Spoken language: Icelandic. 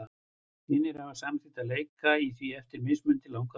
Hinir hafa samþykkt að leika í því eftir mismunandi langar fortölur.